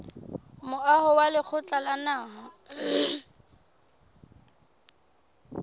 moaho wa lekgotla la naha